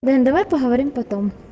дань давай поговорим потом